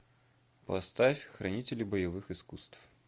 поставь хранители боевых искусств